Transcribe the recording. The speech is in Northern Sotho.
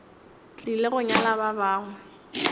tlile go nyala ba bangwe